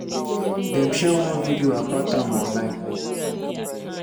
dem share one video about am online.